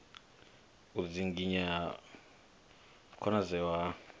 u dzinginya u konadzea ha